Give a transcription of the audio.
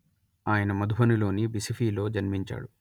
ఆయన మధుబనిలోని బిసిఫిలో జన్మించాడు